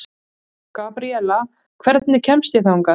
Gabriela, hvernig kemst ég þangað?